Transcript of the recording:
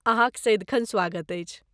अहाँक सदिखन स्वागत अछि!